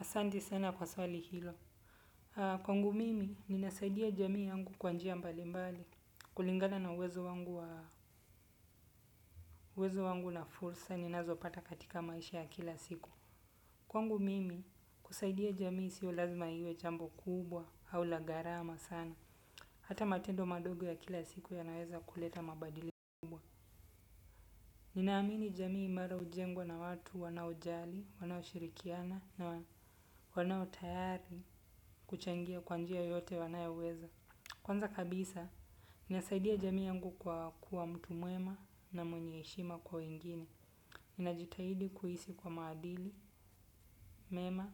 Asante sana kwa swali hilo. Kwangu mimi ninasaidia jamii yangu kwa njia mbali mbali kulingana na uwezo wangu wa uwezo wangu na fursa, ninazo pata katika maisha ya kila siku. Kwangu mimi kusaidia jamii sio lazima iwe jambo kubwa au la garama sana hata matendo madogo ya kila siku yanawezo kuleta mabadiliko kubwa. Ninaamini jamii mara ujengwa na watu wanao jali, wanao shirikiana na wanao tayari kuchangia kwanjia yote wanaya uweza. Kwanza kabisa, nasaidia jamii angu kwa kuwa mtu muema na mwenye heshima kwa wengine. Ninajitahidi kuhisi kwa maadili, mema,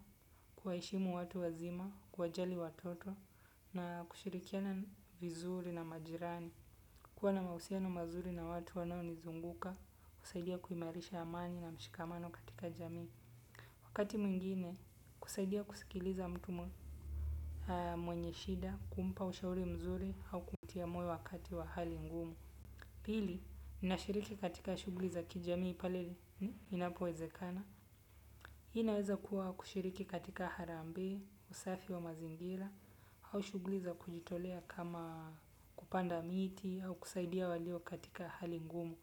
kwaheshimu watu wazima, kuwa jali watoto na kushirikiana vizuri na majirani. Kuwa na mausiano mazuri na watu wanao nizunguka, kusaidia kuimarisha amani na mshikamano katika jamii. Wakati mwingine, kusaidia kusikiliza mtu mwenye shida, kumpa ushauri mzuri, au kumtia moyo wakati wa hali ngumu. Pili, nashiriki katika shugli za kijamii pale. Ni inapuwezekana? Hii naweza kuwa kushiriki katika harambe, usafi wa mazingira, au shugli za kujitolea kama kupanda miti au kusaidia walio katika hali ngumu.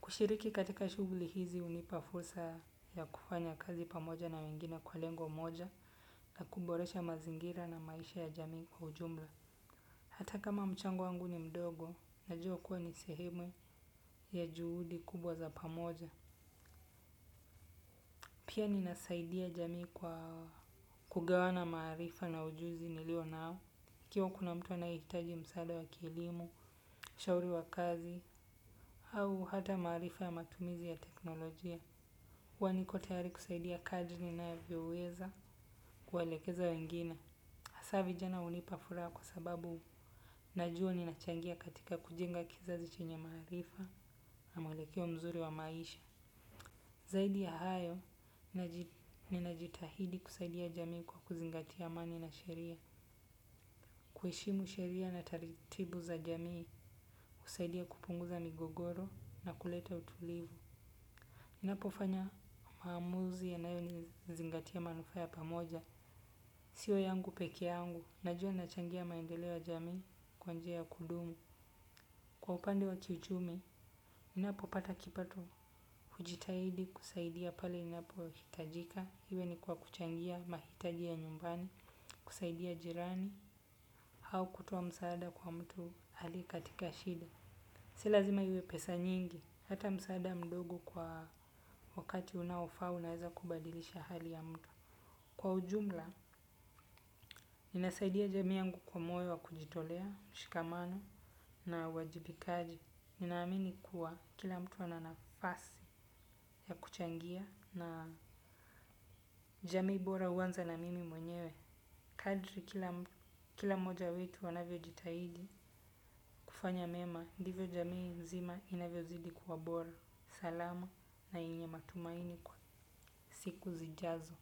Kushiriki katika shugli hizi unipafulsa ya kufanya kazi pamoja na wengine kwa lengo moja, kuboresha mazingira na maisha ya jamii kwa ujumla. Hata kama mchango wangu ni mdogo, najua kuwa nisehemu we ya juhudi kubwa za pamoja. Pia ninasaidia jamii kwa kugawana maarifa na ujuzi nilio nao, kiawa kuna mtu anahitaji msaada wa kielimu, shauri wa kazi, au hata marifa ya matumizi ya teknolojia. Kwaniko tayari kusaidia kaji ninae vioweza kualekeza wengine. Hasavi jana unipa furaha kwa sababu najua ninachangia katika kujenga kizazi chenye marifa, na mwelekeo mzuri wa maisha. Zaidi ya hayo, ninajitahidi kusaidia jamii kwa kuzingatia amani na sheria. Kuheshimu sheria na taritibu za jamii, kusaidia kupunguza migogoro na kuleta utulivu. Inapofanya maamuzi ya nayo nizingatia manufaa ya pamoja. Sio yangu peke yangu, najua nachangia maendeleo jamii kwanjia ya kudumu. Kwa upande wa kiuchumi ninapo pata kipato hujitahidi kusaidia pale inapoitajika. Hiwe ni kwa kuchangia mahitaji ya nyumbani, kusaidia jirani, hau kutoa msaada kwa mtu halie katika shida. Silazima hiwe pesa nyingi, hata msaada mdogo kwa wakati unaofaa unaeza kubadilisha hali ya mtu. Kwa ujumla, ninasaidia jamii yangu kwa moyo wa kujitolea, mshikamano na uwajibikaji. Ninaamini kuwa kila mtu ana nafasi ya kuchangia na jamii bora uwanza na mimi mwenyewe. Kadri kila mmoja wetu wanavyo jitahidi kufanya mema, ndivyo jamii nzima inavyo zidi kuwabora. Salama na yenye matumaini kwa siku zijazo.